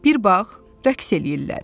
Bir bağ, rəqs eləyirlər.